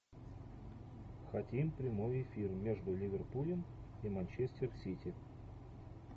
хотим прямой эфир между ливерпулем и манчестер сити